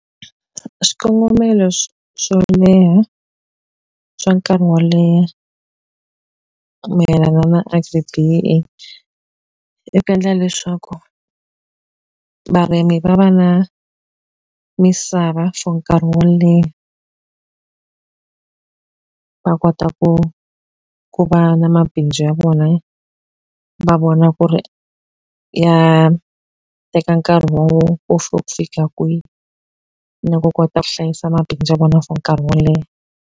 Swikongomelo swo leha swa nkarhi wo leha mayelana na Agri-B_E_E i ku endla leswaku varimi va va na misava for nkarhi wo leha va kota ku ku va na mabindzu ya vona. Va vona ku ri ya teka nkarhi wona fika kwihi, na ku kota ku hlayisa mabindzu ya vona for nkarhi wo leha.